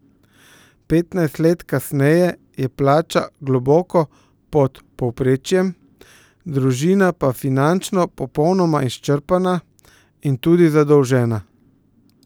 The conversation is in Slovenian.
Petnajst let kasneje je plača globoko pod povprečjem, družina pa finančno popolnoma izčrpana in tudi zadolžena.